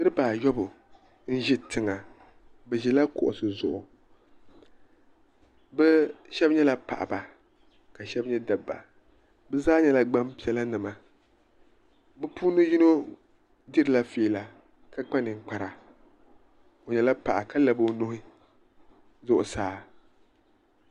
niriba ayɔbu n-ʒi tiŋa bɛ ʒila kuɣisi zuɣu bɛ shɛba nyɛla paɣaba ka shɛba nyɛ dabba bɛ zaa nyɛla gbaŋ'piɛlanima bɛ puuni yino dirila fiila ka kpa ninkpara o nyɛla paɣa ka labi nuhi zuɣusaa.